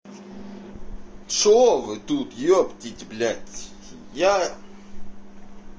что вы тут ептить блять я